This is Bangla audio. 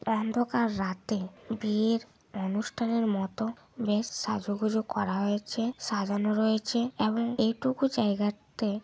অন্ধকার রাতে বিয়ের অনুষ্ঠানের মত বেশ সাজুগুজু করা হয়েছে। সাজানো রয়েছে। এবং এটুকু জায়গা তে--